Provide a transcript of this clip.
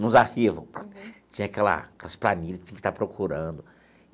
nos arquivo, tinha aquela aquelas planilha, tinha que estar procurando.